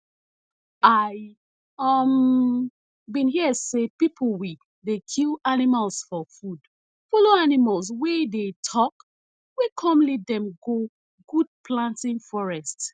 i um bin hear say pipo we dey kill animals for food follow animals wey dey talk wey come lead dem go good planting forest